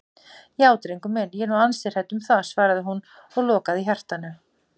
Já drengur minn, ég er nú ansi hrædd um það, svaraði hún og lokaði hjartanu.